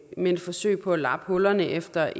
men forsøg på at lappe hullerne efter